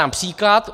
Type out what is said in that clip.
Dám příklad.